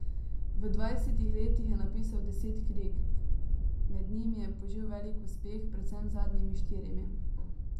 V dvajsetih letih je napisal deset knjig, med njimi je požel velik uspeh predvsem z zadnjimi štirimi.